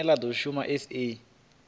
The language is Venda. line la do shuma sa